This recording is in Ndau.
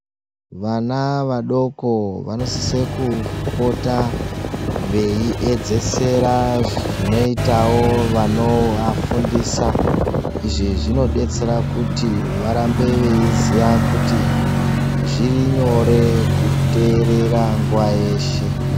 Vana vadoko vano sise ku pota vei edzesera zvinoitao vanova fundisa izvi zvinodetsera kuti varambe veyi ziya kuti zviri nyore ku teerera nguwa yeshe.